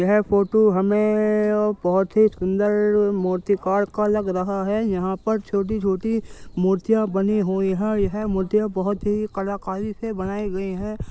यह फोटो हमें अब बहुत ही सुंदर मूर्तिकार का लग रहा है। यहाँं पर छोटी-छोटी मूर्तियाँ बनी हुई हैं। यह मुझे बहुत ही कलाकारी से बनाइ गई हैं।